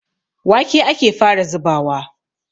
Wake ake fara zubawa.